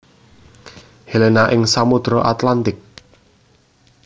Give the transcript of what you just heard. Helena ing Samodra Atlantik